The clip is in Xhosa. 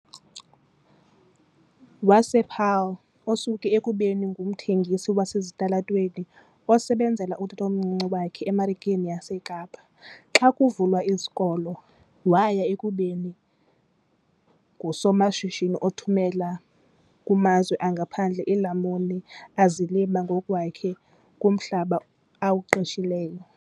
wasePaarl, osuke ekubeni ngumthengisi wasezitalatweni osebenzela utatomncinci wakhe eMarikeni yaseKapa xa kuvalwe izikolo waya ekubeni ngusomashishini othumela kumazwe angaphandle iilamuni azilima ngokwakhe kumhlaba awuqeshileyo.